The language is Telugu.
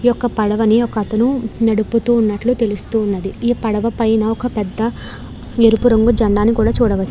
ఈ యొక్క పడవని ఒకతను నడుపుతున్నట్టు తెలుస్తున్నది ఈ పడవ పైన ఒక పెద్ధ ఎరుపు రంగు జెండాని చూడవచ్చు.